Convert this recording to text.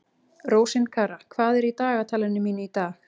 Rósinkara, hvað er í dagatalinu mínu í dag?